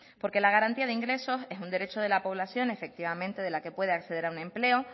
porque la garantía de ingresos es un derecho de la población efectivamente de la que pueda acceder a un empleo